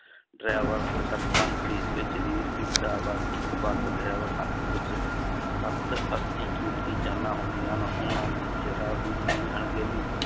Driver ਨੂੰ ਘਸੀੜ ਕੇ ਜ਼ਲੀਲ ਕੀਤਾ ਇੱਕ ਬਸ driver ਹੱਥ ਵਿੱਚ ਸੱਤ ਅੱਸੀ ਕੀਮਤੀ ਜਾਨਾਂ ਹੁੰਦੀਆਂ ਹਨ ਉਹਨਾਂ ਦੀ ਜ਼ਰਾ ਅਣਗਹਿਲੀ